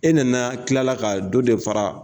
E nana tilala ka dɔ de fara